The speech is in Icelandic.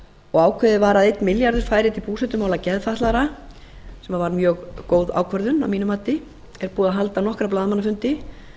og ákveðið var að einn milljarður færi til búsetumála geðfatlaðra þetta var mjög góð ákvörðun að mínu mati það er búið að halda nokkra blaðamannafundi